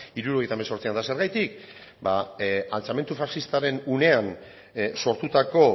hirurogeita hemezortzian eta zergatik ba altxamendu faxistaren unean sortutako